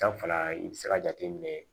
Danfara i bɛ se ka jateminɛ